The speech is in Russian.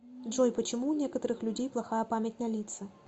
джой почему у некоторых людей плохая память на лица